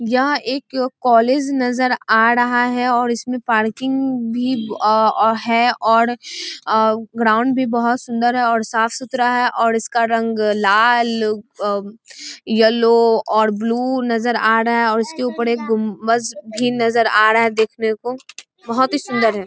यह एक कॉलेज नजर आ ड़हा है औड़ इसमें पार्किंग भी है औड़ ग्राउंड भी बोहोत सुन्दर है औड साफ़ सुथरा है औड इसका रंग लाल ि यलो और ब्लू नजर आ डहा है और इसके ऊपर गुम्बज भी नजर आ डहा है देखने को बहोत ही सुन्दर है |